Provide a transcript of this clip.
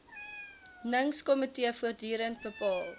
ningskomitee voortdurend bepaal